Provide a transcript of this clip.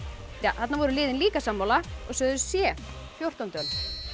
þarna voru liðin líka sammála og sögðu c fjórtándu öld